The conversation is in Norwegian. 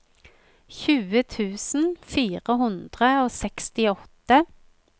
tjue tusen fire hundre og sekstiåtte